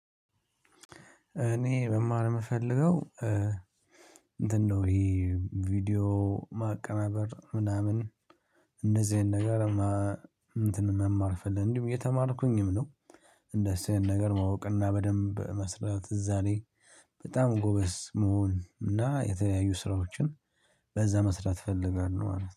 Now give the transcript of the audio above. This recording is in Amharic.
እኔ መማር የምፈልገው እንትን ነው። ይሄ ቪዲዮ ማቀናበር ምናምን እንደዚህ አይነት ነገር እንትን መማርፍልኝ እንዲሁም እየተማርኩኝም ነው። እንደዚህ ይሄን ነገር ማወቅና በደንብ መስራት እዛ ላይ በጣም ጎበዝ መሆን እና የተለያዩ ስራዎችን በዛ መስራት እፈልጋለሁ። አለ